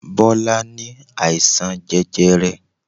Bọlá ní àìsàn jẹjẹrẹ.